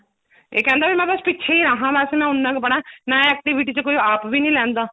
ਇਹ ਕਹਿੰਦਾ ਵੀ ਮੈਂ ਬੱਸ ਪਿੱਛੇ ਹੀ ਰਹਾ ਮੈਂ ਬੱਸ ਉੰਨਾ ਕ ਪੜ੍ਹਾਂ ਨਾ activity ਵਿੱਚ ਕੋਈ ਆਪ ਵੀ ਨਹੀਂ ਲੈਂਦਾ